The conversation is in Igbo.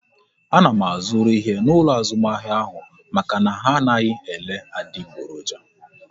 A na m azuru ihe n'ụlọ azụmahịa ahụ maka na ha anaghị ele adiboroja